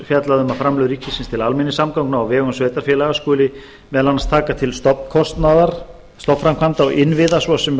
fjallað um að framlög ríkisins til almenningssamgangna á vegum sveitarfélaga skuli meðal annars taka til stofnkostnaðar stofnframkvæmda og innviða svo sem